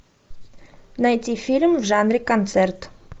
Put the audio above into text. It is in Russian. найти фильм в жанре концерт